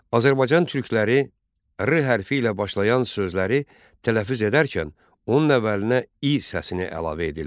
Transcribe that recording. Azərbaycan türkləri 'R' hərfi ilə başlayan sözləri tələffüz edərkən onun əvvəlinə 'İ' səsini əlavə edirlər.